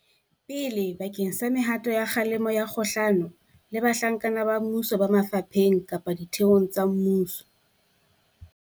pele bakeng sa mehato ya kgalemo kgahlano le bahlanka ba mmuso ba mafapheng kapa ditheong tsa mmuso.